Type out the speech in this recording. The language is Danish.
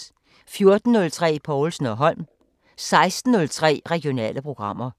14:03: Povlsen & Holm 16:03: Regionale programmer